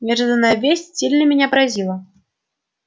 неожиданная весть сильно меня поразила